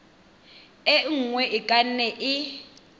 e nngwe e ka nne